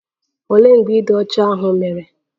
Olee mgbe ịdị ọcha ahụ mere?